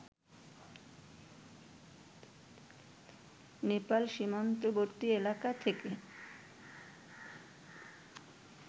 নেপাল সীমান্তবর্তী এলাকা থেকে